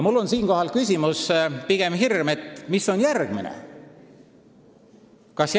Mul on siinkohal küsimus või pigem hirm, et mis järgmiseks.